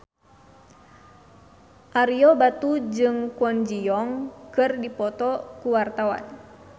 Ario Batu jeung Kwon Ji Yong keur dipoto ku wartawan